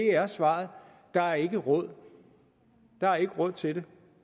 er svaret der er ikke råd der er ikke råd til